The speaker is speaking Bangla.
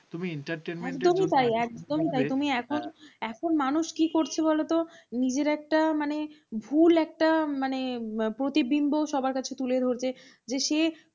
কী করছ বলত নিজের একটা মানে ভুল একটা মানে প্রতিবিম্ব সবার কাছে তুলে ধরতে যে সে